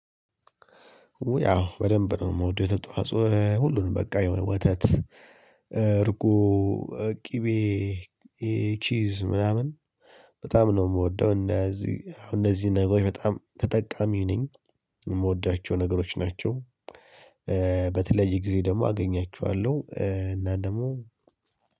ያው በደንብ ነው ምውደው። የወተት ተዋጾ ሁሉንም በቃ የሆነ ወተት እርጎ ቅቤ፣ ቺዝ ምናምን በጣም ነው የምወደው። እንደዚህ አው እነዚህን ነገሮች በጣም ተጠቃሚ ነኝ። የምወዳቸው ነገሮች ናቸው። በተለይ ጊዜ ደግሞ አገኛችኋለሁ። እና ደግሞ